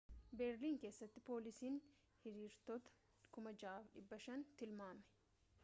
beerlin keessatti poolisiin hiriirtota 6,500 tilmaame